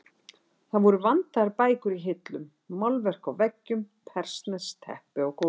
Það voru vandaðar bækur í hillum, málverk á veggjum, persneskt teppi á gólfi.